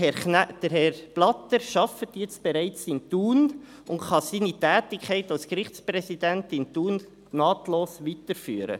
Herr Blatter arbeitet jetzt bereits in Thun und kann seine Tätigkeit als Gerichtspräsident in Thun nahtlos weiterführen.